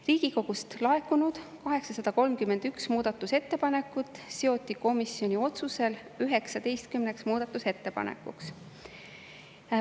Riigikogust laekunud 831 muudatusettepanekut seoti komisjoni otsusel 19 ettepanekuks.